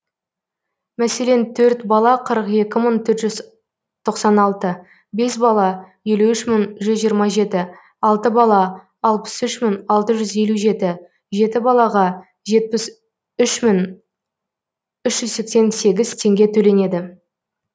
мәселен төрт бала қырық екі мың төрт жүз тоқсан алты бес бала елу үш мың жүз жиырма жеті алты бала алпыс үш мың алты жүз елу жеті жеті балаға жетпіс үш мың үш жүз сексен сегіз теңге төленеді